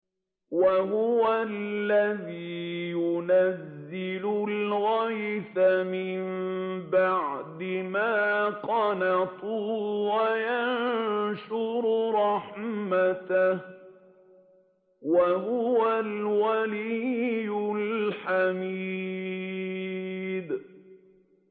وَهُوَ الَّذِي يُنَزِّلُ الْغَيْثَ مِن بَعْدِ مَا قَنَطُوا وَيَنشُرُ رَحْمَتَهُ ۚ وَهُوَ الْوَلِيُّ الْحَمِيدُ